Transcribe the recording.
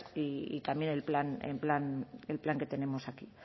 y también el plan que tenemos aquí